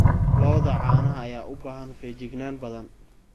Lo'da caanaha ayaa u baahan feejignaan badan.